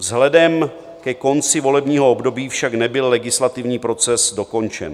Vzhledem ke konci volebního období však nebyl legislativní proces dokončen.